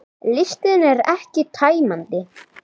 Listinn er ekki tæmandi